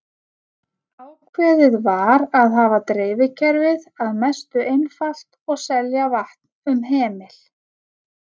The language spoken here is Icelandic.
Ákveðið var að hafa dreifikerfið að mestu einfalt og selja vatn um hemil.